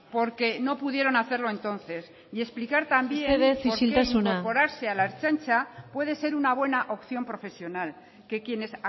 porque no pudieron hacerlo entonces y explicar también por qué mesedez isiltasuna incorporarse a la ertzaintza puede ser una buena opción profesional que quienes